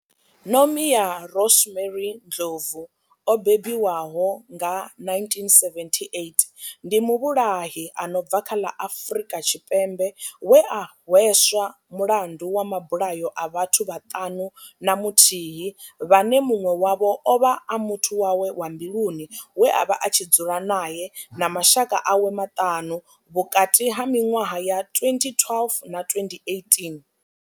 Nomia Rosemary Ndlovu o bebiwaho nga 1978 ndi muvhulahi a no bva kha ḽa Afurika Tshipembe we a hweswa mulandu wa mabulayo a vhathu vhaṱanu na muthihi vhane munwe wavho ovha a muthu wawe wa mbiluni we avha a tshi dzula nae na mashaka awe maṱanu vhukati ha minwaha ya 2012 na 2018.